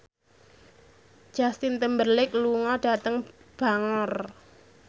Justin Timberlake lunga dhateng Bangor